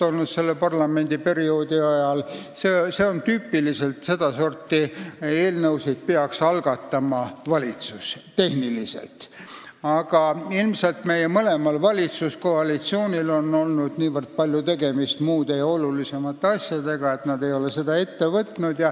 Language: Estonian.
Meil on selle parlamendiperioodi ajal kaks valitsust olnud, aga ilmselt on mõlemal valitsuskoalitsioonil olnud niivõrd palju tegemist muude ja olulisemate asjadega, et nad ei ole seda ette võtnud.